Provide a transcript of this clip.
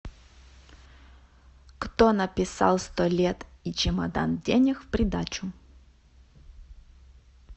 кто написал сто лет и чемодан денег в придачу